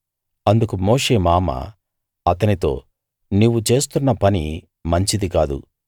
అందుకు మోషే మామ అతనితో నీవు చేస్తున్న పని మంచిది కాదు